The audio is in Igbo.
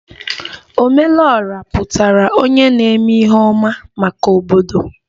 Ome lu Ora pụtara onye na-eme ihe ọma maka obodo